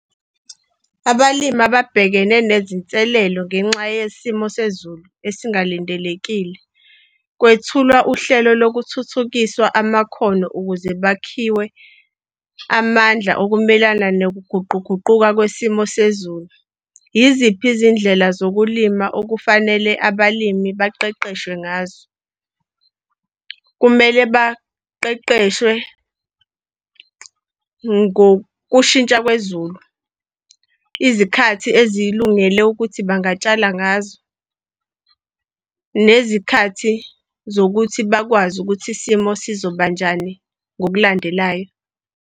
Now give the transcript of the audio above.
Abalimi ababhekene nezinselelo ngenxa yesimo sezulu esingalindelekile. Kwethulwa uhlelo lokuthuthukiswa amakhono ukuze bakhiwe amandla okumelana nokuguquguquka kwesimo sezulu. Yiziphi izindlela zokulima okufanele abalimi baqeqeshwe ngazo? Kumele baqeqeshwe ngokushintsha kwezulu, izikhathi ezikulungele ukuthi bangatshala ngazo, nezikhathi zokuthi bakwazi ukuthi isimo sizoba njani ngokulandelayo.